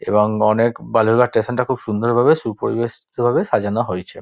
এবং অনেক বালুরঘাট স্টেশন টা খুব সুন্দর ভাবে সুপরিবেস্টিত ভাবে সাজানো হয়েছে।